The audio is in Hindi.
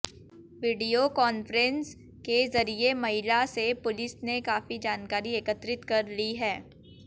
वीडियो कांन्फ्रेंस के जरिये महिला से पुलिस ने काफी जानकारी एकत्रित कर ली है